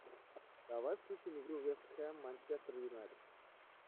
давай включим игру вест хэм манчестер юнайтед